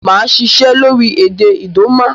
Màa sisẹ́ lórí èdè Idoma